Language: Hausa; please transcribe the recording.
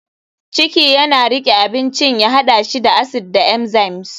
ciki yana riƙe abincin ya haɗa shi da acid da enzymes.